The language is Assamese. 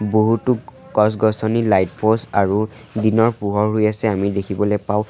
বহুতো গছ-গছনি লাইট প'ষ্ট আৰু দিনৰ পোহৰ হৈ আছে আমি দেখিবলৈ পাও--